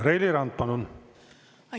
Reili Rand, palun!